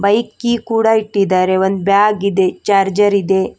Bike key ಕೂಡ ಇಟ್ಟಿದಾರೆ ಒಂದು ಬ್ಯಾಗ್ ಇದೆ ಚಾರ್ಜರ್ ಇದೆ.